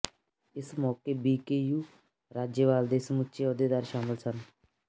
ਇਸ ਮੌਕੇ ਬੀਕੇਯੂ ਰਾਜੇਵਾਲ ਦੇ ਸਮੁੱਚੇ ਅਹੁਦੇਦਾਰ ਸ਼ਾਮਲ ਸਨ